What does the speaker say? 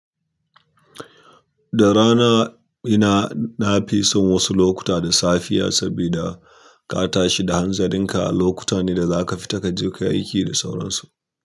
Da rana ina nafi son wasu lokuta da safiya saboda kata shi da hanzarin ka lokuta ne da za ka fita ka je ka yi aiki da sauransu.